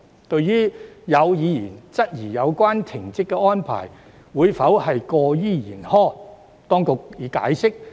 對於有議員質疑有關停職安排會否過於嚴苛，當局已作出解釋。